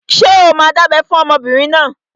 Ṣé o máa dábẹ́ fún ọmọbìnrin náà?